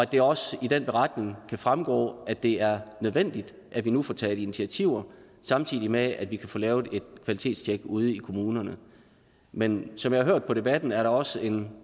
det også i den beretning kan fremgå at det er nødvendigt at vi nu får taget initiativer samtidig med at vi kan få lavet et kvalitetstjek ude i kommunerne men som jeg har hørt på debatten er der også en